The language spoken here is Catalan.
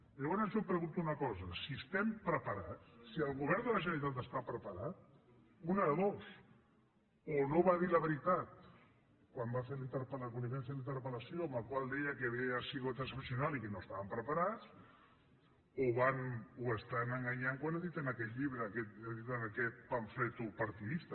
llavors jo em pregunto una cosa si estem preparats si el govern de la generalitat està preparat una de dos o no va dir la veritat quan li vam fer la interpel·lació en la qual deia que havia sigut excepcional i que no estàvem preparats o estan enganyant quan editen aquest llibre quan editen aquest pamflet partidista